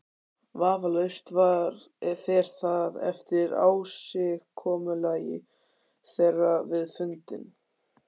Vafalaust fer það eftir ásigkomulagi þeirra við fundinn.